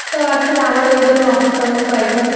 ওকে দেখা এগুলো করতে হচ্ছিল। তো আজকে আমারও